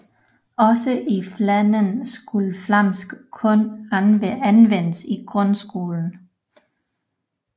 Også i Flandern skulle flamsk kun anvendes i grundskolen